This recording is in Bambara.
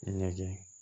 Ɲɛgɛn